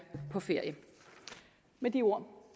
på ferie med de ord